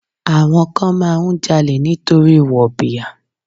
Àwọn kan máa ń jalè nítorí wọ̀bìà.